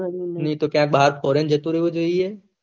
નાય તો ક્યાય ભાહર foreign જતું રેહવું જોયીયે